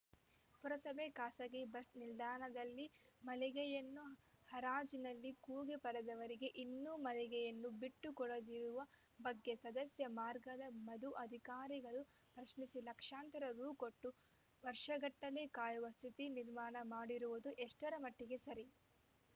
ಪುರಸಭೆ ಖಾಸಗೀ ಬಸ್‌ ನಿಲ್ದಾಣದಲ್ಲಿ ಮಳಿಗೆಯನ್ನು ಹರಾಜಿನಲ್ಲಿ ಕೂಗಿ ಪಡೆದವರಿಗೆ ಇನ್ನು ಮಳಿಗೆಯನ್ನು ಬಿಟ್ಟು ಕೊಡದಿರುವ ಬಗ್ಗೆ ಸದಸ್ಯ ಮಾರ್ಗದ ಮಧು ಅಧಿಕಾರಿಗಳ ಪ್ರಶ್ನಿಸಿ ಲಕ್ಷಾಂತರ ರೂ ಕೊಟ್ಟು ವರ್ಷಗಟ್ಟಲೇ ಕಾಯುವ ಸ್ಥಿತಿ ನಿರ್ಮಾಣ ಮಾಡಿರುವುದು ಎಷ್ಟರ ಮಟ್ಟಿಗೆ ಸರಿ